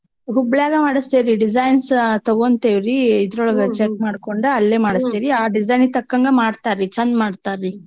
ಹುಬ್ಳ್ಯಾಗ ಮಾಡಸ್ತೇವ್ರೀ designs ತಗೋಂತಿವ್ರೀ ಇದ್ರೊಳ್ಗ check ಮಾಡ್ಕೊಂಡ್ ಅಲ್ಲೇ ಮಾಡ್ಸ್ತಿವಿ ಆ designs ತಕಂಗ್ ಮಾಡ್ತಾರೀ ಚಂದ್ ಮಾಡ್ತಾರೀ.